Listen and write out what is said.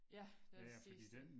Ja den sidste